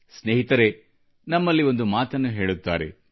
ಸ್ನೇಹಿತರೇ ನಮ್ಮಲ್ಲಿ ಒಂದು ಮಾತನ್ನು ಹೇಳುತ್ತಾರೆ